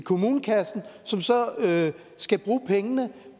kommunekassen som så skal bruge pengene